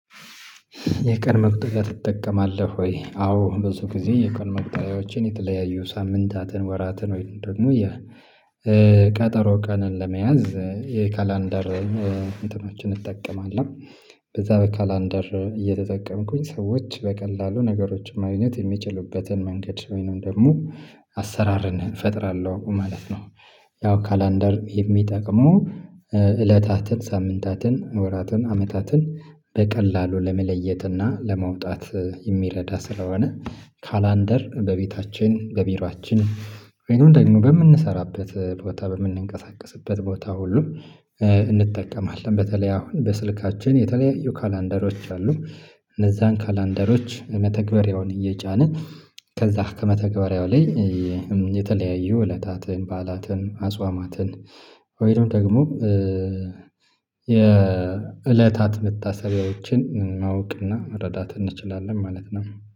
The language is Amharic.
የቀን መቁጠሪያ ትጠቀማለህ ወይ? አዎ ብዙ ጊዜ የቀን መቁጠሪያዎችን የተለያዩ ሳምንታትን ወራትን ወይም ደግሞ የቀጠሮ ቀንን ለመያዝ የካላንደር እንትኖችን እጠቀማለው። በዛ በካላንደር እየተጠቀምኩኝ ሰዎች በቀላሉ ነገሮችን ማግኘት የሚችሉበትን መንገድ ወይንም ደግሞ አሰራርን እፈጥራለሁ ማለት ነው። ያው ካላንደር የሚጠቅመው እለታትን ሳምንታትን ወራትን አመታትን በቀላሉ ለመለየት እና ለመውጣት የሚረዳ ስለሆነ። ካላንደር በቤታችን በቢሯችን ደግሞ በምንሰራበት ቦታ በምንንቀሳቀስበት ቦታ ሁሉ እንጠቀማለን በተለይ አሁን በስልካችን የተለያዩ ካላንደሮች አሉ። እነዛን ካላንደሮች መተግበሪያውን እየጫንን ከዛ ከመተግበሪያው ላይ የተለያዩ እለታትን ባዕላትን አጽዋማትን ወይንም ደግሞ የእለታት መታሰቢያዎችን ማወቅ እና መረዳት እንችላለን ማለት ነው